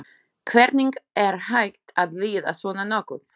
Hvernig er hægt að líða svona nokkuð?